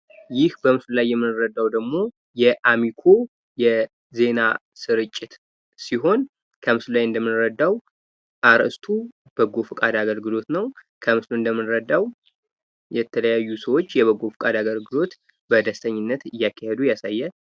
ይህ በምስሉ ላይ የምንረዳው ደግሞ የአሚኮ የዜና ስርጭት ሲሆን ከምስሉ ላይ እንደምንረዳው አርእስቱ በጎ ፈቃድ አገልግሎት ነው። ከምስሉ እንደምንረዳው የተለያዩ ሰዎች የበጎ ፈቃድ አገልግሎት በደስተኝነት እያካሄዱ ይገኛል።